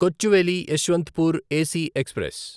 Kochuveli Yesvantpur AC express